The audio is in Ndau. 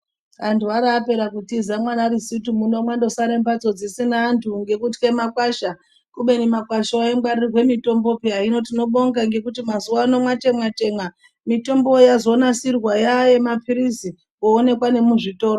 Vantu vabaowra kutiza munana rusiti muni mangosara mbatso dzisina antu ngekutya makwasha kubeni makwasha iwawo aingwarirwa mitombo piya hino tinobonga ngekuti mazuva ano mitombo yazonasirwa yayemapirizi yoonekwa nekuzvitoro.